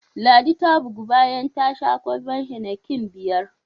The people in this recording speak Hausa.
Ladi ta bugu bayan ta sha kwalban Heineken biyar.